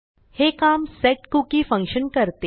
हे काम setcookieफंक्शन करते